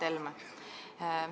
Hea Mart Helme!